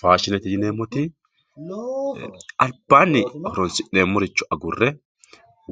Faashinete yi'neemoti alibanni horo'nsinemore agure